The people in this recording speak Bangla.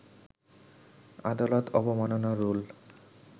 আদালত অবমাননার রুল